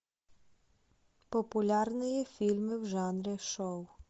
популярные фильмы в жанре шоу